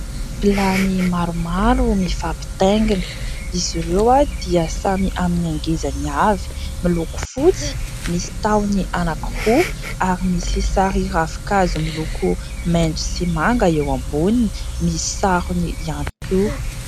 Vilany maromaro mifampitaingina; izy ireo dia samy amin'ny angezany avy, miloko fotsy, misy tahony anankiroa ary misy sary ravin-kazo miloko maitso sy manga eo amboniny; misy sarony ihany koa.